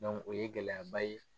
o ye gɛlɛyaba ye